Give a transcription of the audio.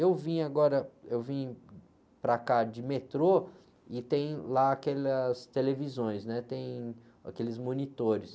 Eu vim agora, eu vim para cá de metrô e tem lá aquelas televisões, né? Tem aqueles monitores.